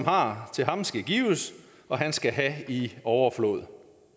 har til ham skal der gives og han skal have i overflod